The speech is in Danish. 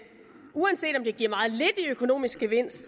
uanset om det giver meget lidt i økonomisk gevinst